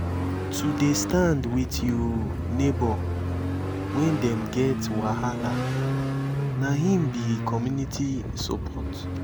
to dey stand wit you nebor wen dem get wahala na im be community support.